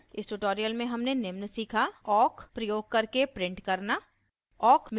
इस ट्यूटोरियल में हमने निम्न सीखा awk प्रयोग करके प्रिंट करना